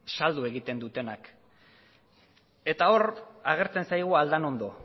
saldu egiten dutenak eta hor agertzen zaigu aldanondo